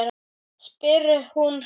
spyr hún hreint út.